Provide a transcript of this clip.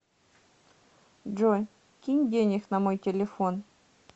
джой кинь денег на мой телефон